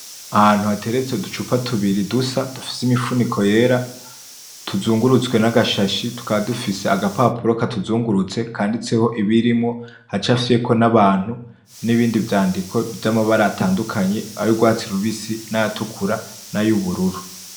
Ahantu hateretse uducupa tubiri dusa dufise imifuniko yera tuzungurutswe n'agashashi tukaba dufise agapapuro katuzungurutse kanditseho ibirimwo, hacafyeko n'abantu n'ibindi vyandiko vyamabara atandukanye ayurwatsi rubisi n'ayatukura n'ayubururu .